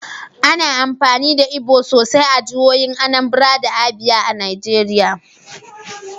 Ana amfani da Igbo sosai a jihohin Anambra da Abia a Najeriya.